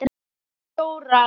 Hvaða fjórar?